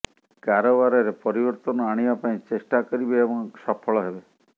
କାରବାରରେ ପରିବର୍ତ୍ତନ ଆଣିବା ପାଇଁ ଚେଷ୍ଟା କରିବେ ଏବଂ ସଫଳ ହେବେ